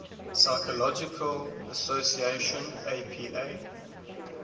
psychological association apa